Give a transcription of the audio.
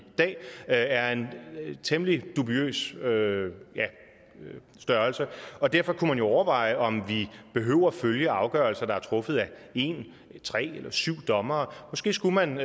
dag er en temmelig dubiøs størrelse og derfor kunne man jo overveje om vi behøver at følge afgørelser der er truffet af en tre eller syv dommere måske skulle man